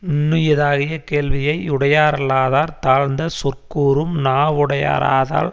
நுண்ணியதாகிய கேள்வியை யுடையாரல்லாதார் தாழ்ந்த சொற்கூறும் நாவுடையாராதால்